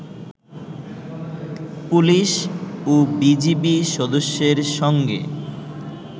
police, ও BGB সদস্যদের সঙ্গে